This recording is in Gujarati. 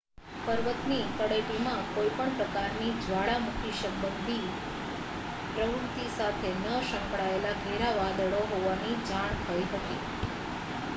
પર્વતની તળેટીમાં કોઈ પણ પ્રકારની જ્વાળામુખી સંબંધિત પ્રવૃત્તિ સાથે ન સંકળાયેલાં ઘેરાં વાદળો હોવાની જાણ થઈ હતી